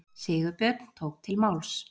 Sigurbjörn tók til máls.